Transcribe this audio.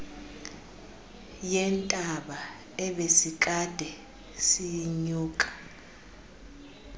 yentaba ebesikade siyinyuka